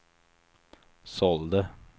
sålde